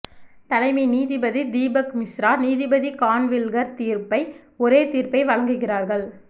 தலைமை நீதிபதி தீபக் மிஸ்ரா நீதிபதி கான்வில்கர் தீர்ப்பை ஒரே தீர்ப்பை வழங்குகிறார்கள்